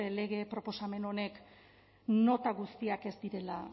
lege proposamen honek nota guztiak ez direla